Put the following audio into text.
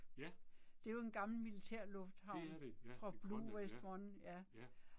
Ja. Det er det ja, i Grønland, ja